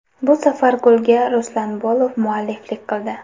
Bu safar golga Ruslan Bolov mualliflik qildi.